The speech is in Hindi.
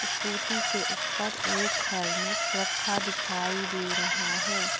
स्कूटी के ऊपर एक हेल्मेट रखा दिखाई दे रहा है।